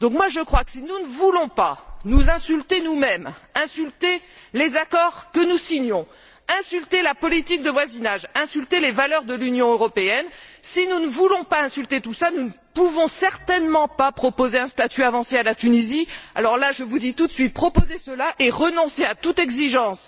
Je crois donc que, si nous ne voulons pas nous insulter nous mêmes, insulter les accords que nous signons, insulter la politique de voisinage, insulter les valeurs de l'Union européenne, si nous ne voulons pas insulter tout cela, nous ne pouvons certainement pas proposer un statut avancé à la Tunisie. Alors là, je vous dis tout net, proposez cela et renoncez à toute exigence